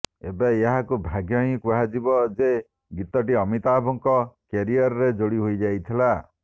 ଏବେ ଏହାକୁ ଭାଗ୍ୟ ହିଁ କୁହାଯିବ ଯେ ଗୀତଟି ଅମିତାଭଙ୍କ କ୍ୟାରିୟରରେ ଯୋଡି ହୋଇ ଯାଇଥିଲା